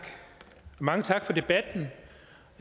mange tak for debatten